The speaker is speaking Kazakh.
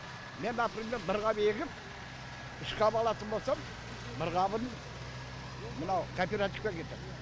мен например бір қап егіп үш қап алатын болсам бір қабын мынау кооперативке кетеді